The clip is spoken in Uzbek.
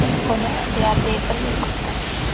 Buni deyarli bir yil kutdim.